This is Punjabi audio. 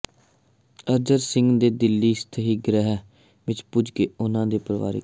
ਅਰਜਨ ਸਿੰਘ ਦੇ ਦਿੱਲੀ ਸਥਿਤ ਗ੍ਰਹਿ ਵਿਖੇ ਪੁੱਜ ਕੇ ਉਨ੍ਹਾਂ ਦੇ ਪਰਿਵਾਰਕ